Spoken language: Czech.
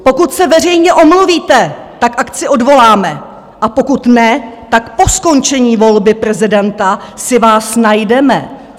Pokud se veřejně omluvíte, tak akci odvoláme, a pokud ne, tak po skončení volby prezidenta si vás najdeme!